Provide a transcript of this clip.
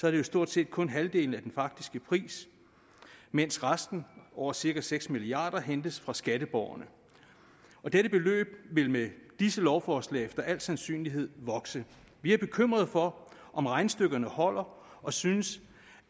er det stort set kun halvdelen af den faktiske pris mens resten over cirka seks milliard kr hentes fra skatteborgerne og dette beløb vil med disse lovforslag efter al sandsynlighed vokse vi er bekymrede for om regnestykkerne holder og synes